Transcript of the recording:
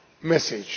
message.